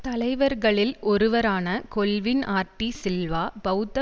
தலைவர்களில் ஒருவரான கொல்வின் ஆர்டி சில்வா பெளத்த